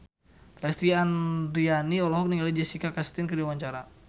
Lesti Andryani olohok ningali Jessica Chastain keur diwawancara